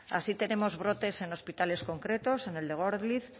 así tenemos brotes en hospitales concretos en el de gorliz